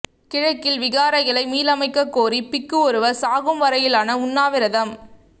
கிழக்கில் விகாரைகளை மீளமைக்க கோரி பிக்கு ஒருவர் சாகும் வரையிலான உண்ணாவிரதம்